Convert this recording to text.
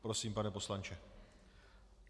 Prosím, pane poslanče.